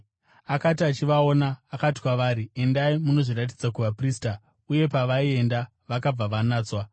Akati achivaona, akati kwavari, “Endai munozviratidza kuvaprista.” Uye pavaienda, vakabva vanatswa.